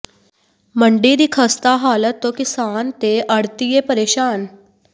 ਮੰਡੀ ਦੀ ਖ਼ਸਤਾ ਹਾਲਤ ਤੋਂ ਕਿਸਾਨ ਤੇ ਆੜ੍ਹਤੀਏ ਪਰੇਸ਼ਾਨ